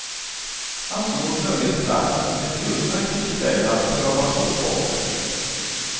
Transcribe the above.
Han såg nöjesplatsen som ett utmärkt tillfälle att pröva på sporten.